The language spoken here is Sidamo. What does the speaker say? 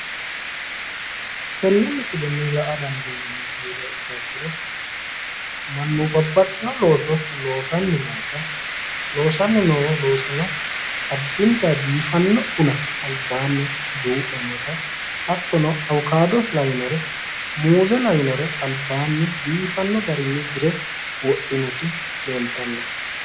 Tenne misilenni la''a dandiinanniri heeriha ikkiha ikkiro mannu babbaxxino looso loosanni noota loosanni noo loosino addinta biifanno buna albaanni duu'ne noota hattono awukado lawinore muuze lawinore albaanni dire wodhinoti leeltanno.